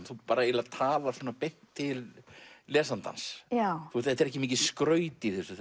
þú eiginlega talar beint til lesandans þetta er ekki mikið skraut í þessu